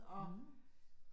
Mh